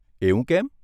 એવું કેમ?